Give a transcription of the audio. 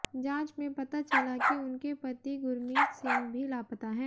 जांच में पता चला कि उनके पति गुरमीत सिंह भी लापता है